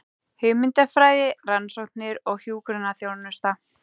Hugmyndafræði, rannsóknir og hjúkrunarþjónusta.